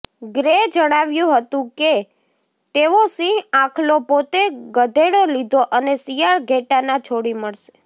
grey જણાવ્યું હતું કે તેઓ સિંહ આખલો પોતે ગધેડો લીધો અને શિયાળ ઘેટાંના છોડી મળશે